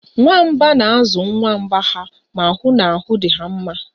Nwamba na-azụ nwa nwamba ha ma hụ na ahụ dị ha mma